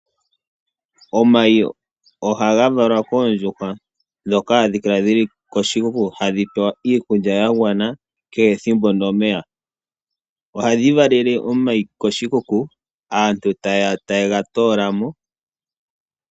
Omayi ohaga valwa koondjuhwa dhoka hadhi kala dhili koshikuku, hadhi pewa iikulya yagwana kehe ethimbo nomeya. Ohadhi valele omayi koshikuku aantu taye gatoola mo.